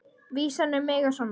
Vísan um mig er svona: